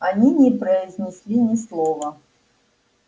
они не произнесли ни слова